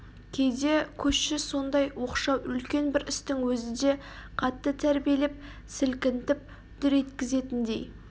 кейде көші сондай оқшау үлкен бір істің өзі де қатты тәрбиелеп сілкінтіп дүр еткізетіндей